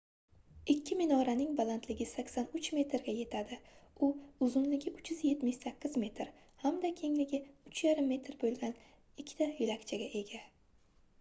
ikki minoraning balandligi 83 metrga yetadi u uzunligi 378 metr hamda kengligi 3,5 m boʻlgan ikkita yoʻlakchaga ega